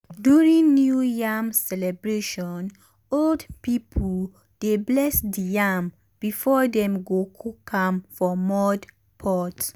during new yam celebration old people dey bless the yam before dem go cook am for mud pot.